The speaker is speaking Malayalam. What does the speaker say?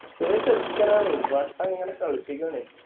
ചെറിയ ചെറുക്കനാണ് വട്ടം ഇങ്ങനെ കളിപ്പിക്കാണെ